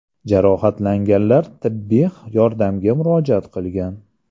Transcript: Jarohatlanganlar tibbiy yordamga murojaat qilgan.